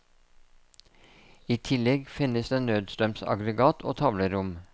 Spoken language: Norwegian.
I tillegg finnes det nødstrømsaggregat og tavlerom.